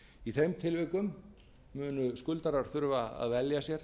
í þeim tilvikum munu skuldarar þurfa að velja sér